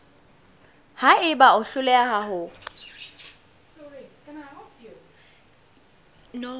ha eba o hloleha ho